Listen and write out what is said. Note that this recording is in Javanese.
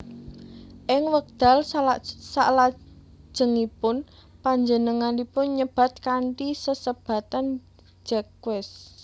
Ing wekdal salajengipun panjenenganipun nyebat kanthi sesebatan Jacques